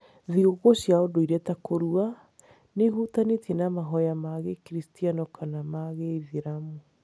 Thigũkũ cia ũndũire ta kũrua, nĩ ihutanĩtie na mahoya ma Gĩkristiano kana ma Gĩithĩramu.